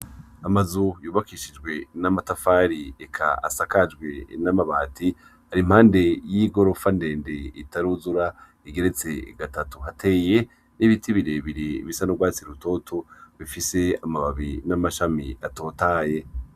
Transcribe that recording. Amazu yubakishjwe n'amatafari eka asakajwe n'amabati ari impande y'igorofa ndende itaruzura igeretse gatatu hateye n'ibiti birebire bisa n'urwatsi rutoto bifise amababi n'amashami atotahaye.